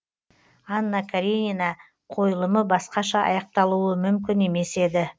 анна каренина қойылымы басқаша аяқталуы мүмкін емес еді